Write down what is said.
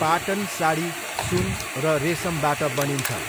पाटन साडी सुन र रेशमबाट बनिन्छ।